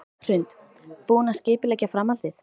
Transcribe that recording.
Hrund: Búinn að skipuleggja framhaldið?